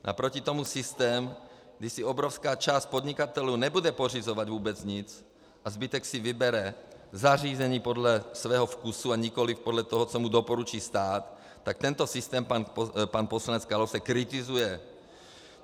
Naproti tomu systém, kdy si obrovská část podnikatelů nebude pořizovat vůbec nic a zbytek si vybere zařízení podle svého vkusu a nikoliv podle toho, co mu doporučí stát, tak tento systém pan poslanec Kalousek kritizuje.